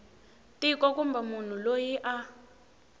tiko kumbe munhu loyi a